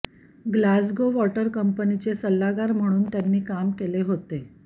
Glasgow water कंपनीचे सल्लागार म्हणून त्यांनी काम केले होते